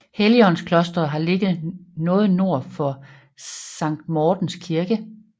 Helligåndsklosteret har ligget noget nord for Sankt Mortens Kirke